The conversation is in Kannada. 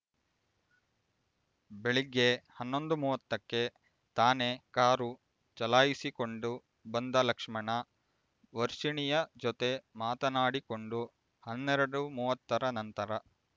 ಬೆಳಿಗ್ಗೆ ಹನ್ನೊಂದು ಮೂವತ್ತಕ್ಕೆ ತಾನೇ ಕಾರು ಚಲಾಯಿಸಿಕೊಂಡು ಬಂದ ಲಕ್ಷ್ಮಣ ವರ್ಷಿಣಿಯ ಜೊತೆ ಮಾತನಾಡಿಕೊಂಡು ಹನ್ನೆರಡು ಮೂವತ್ತರ ನಂತರ